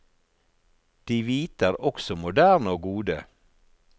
De hvite er også moderne og gode.